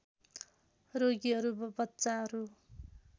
रोगीहरू बच्चाहरू